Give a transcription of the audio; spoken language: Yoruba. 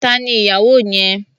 Tani ni ìyàwó yẹn?